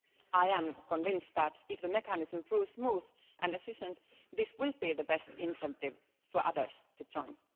I am convinced that if the mechanism proves smooth and efficient this will be the best incentive for others to join.